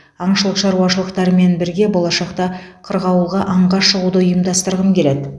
аңшылық шаруашылықтарымен бірге болашақта қырғауылға аңға шығуды ұйымдастырғым келеді